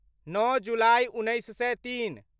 नओ जुलाइ, उन्नैस सए तीन